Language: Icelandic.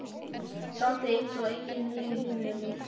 Samt er eins og enginn eigi heima hérna.